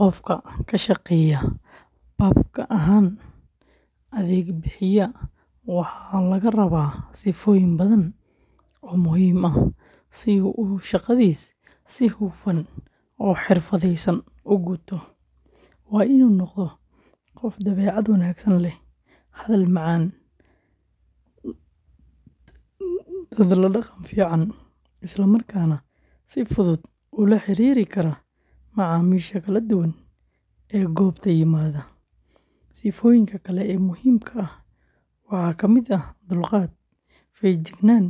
Qofka ka shaqeeya pubka ahaan adeeg bixiye waxa laga rabaa sifooyin badan oo muhiim ah si uu shaqadiisa si hufan oo xirfadaysan u guto. Waa inuu noqdaa qof dabeecad wanaagsan leh, hadal macaan, dad la dhaqan fiican, isla markaana si fudud ula xiriiri kara macaamiisha kala duwan ee goobta yimaada. Sifooyinka kale ee muhiimka ah waxaa ka mid ah dulqaad, feejignaan,